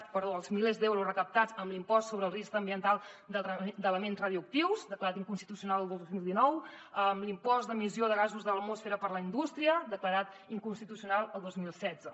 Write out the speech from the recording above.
perdó els milers d’euros recaptats amb l’impost sobre el risc ambiental d’elements radioactius declarat inconstitucional el dos mil dinou l’impost d’emissió de gasos a l’atmosfera per la indústria declarat inconstitucional el dos mil setze